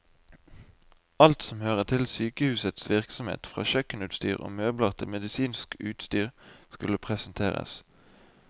Alt som hører til sykehusets virksomhet, fra kjøkkenutstyr og møbler til medisinsk utstyr, skulle presenteres.